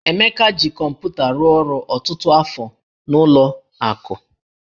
Emeka ji kọmpụta rụọ ọrụ ọtụtụ afọ n'ụlọ akụ